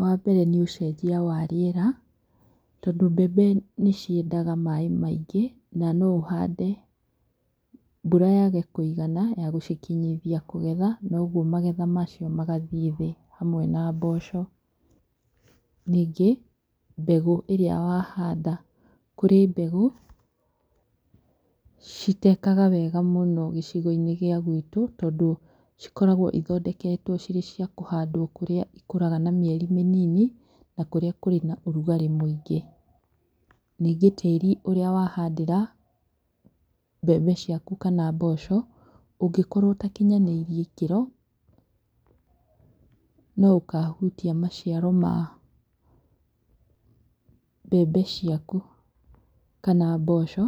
Wambere nĩ ũcenjia wa rĩera, tondũ mbembe nĩciendaga maaĩ maingĩ, na no ũhande, mbura yage kũigana ya gũcikinyithia kũgetha, na ũguo magetha macio magathiĩ thĩ hamwe na mboco. Ningĩ, mbegũ ĩrĩa wahanda. Kũri mbegũ citekaga wega mũno gĩcigo-inĩ gĩa gwitũ, tondũ cikoragwo ithondeketwo cirĩ cia kũhandwo kũrĩa ikũraga na mĩeri mĩnini, na kũrĩa kũrĩ na ũrugarĩ mũingĩ. Nĩngĩ tĩĩri ũrĩa wahandĩra mbembe ciaku kana mboco, ũngĩkorwo ũtakinyanĩirie ikĩro, no ũkahutia maciaro ma mbembe ciaku kana mboco.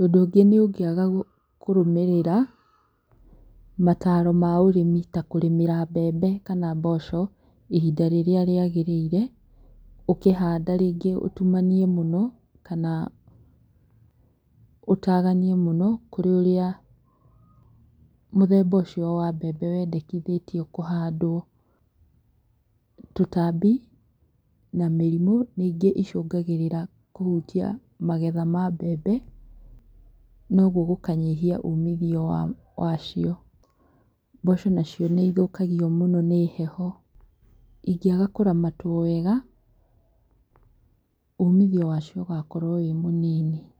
Ũndũ ũngĩ nĩ ũngĩaga kũrũmĩrĩra mataro ma ũrimi ta kũrĩmĩra mbembe kana mboco, ihinda rĩrĩa rĩagĩrĩire, ũkĩhanda rĩngĩ ũtumanie mũno kana ũtaganie mũno kũrĩ ũrĩa mũthemba ũcio wa mbembe wendekithĩtio kũhandwo. Tũtambi na mĩrimũ nĩ ingĩ icũngagĩrĩra kũhutia magetha ma mbembe na ũguo gũkanyihia umithio wacio. Mboco nacio nĩithũkagio mũno nĩ heho. Ingĩaga kũramatwo wega, uumithio wacio ũgakorwo wĩ mũnini.